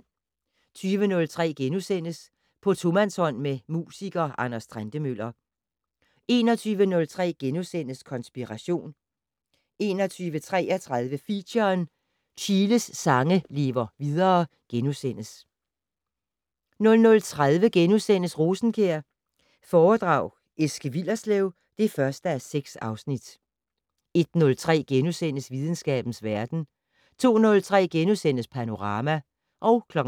20:03: På tomandshånd med musiker Anders Trentemøller * 21:03: Konspiration * 21:33: Feature: Chiles sange lever videre * 00:30: Rosenkjær foredrag Eske Willerslev (1:6)* 01:03: Videnskabens verden * 02:03: Panorama *